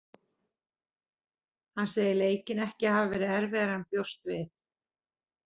Hann segir leikinn ekki hafa verið erfiðari en hann bjóst við.